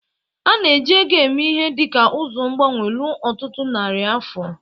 A na-eji ego eme ihe dị ka ụzọ mgbanwe ruo ọtụtụ narị afọ.